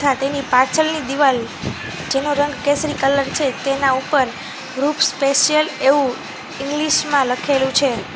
તેની પાછળની દિવાલ જેનો રંગ કેસરી કલર છે તેના ઉપર વૃક્ષ સ્પેશિયલ એવું ઇંગ્લિશ માં લખેલું છે.